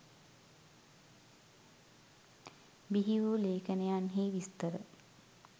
බිහි වූ ලේඛනයන්හි විස්තර